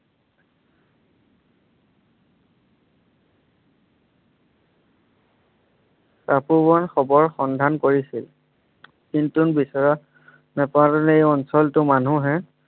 তপোবন খবৰৰ সন্ধান কৰিছিল কিন্তু বিচৰা নেপালে এই অঞ্চলটো মানুহে